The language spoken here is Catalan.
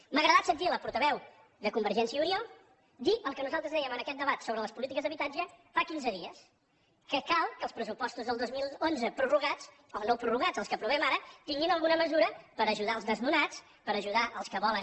m’ha agradat sentir la portaveu de convergència i unió dir el que nosaltres dèiem en aquest debat sobre les polítiques d’habitatge fa quinze dies que cal que els pressupostos del dos mil onze prorrogats o no prorrogats els que aprovem ara tinguin alguna mesura per ajudar els desnonats per ajudar els que volen